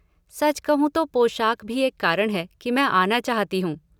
सच कहूँ तो पोशाक भी एक कारण है कि मैं आना चाहती हूँ।